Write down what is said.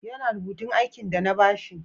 Ya na rubutun aikin de na ba shi?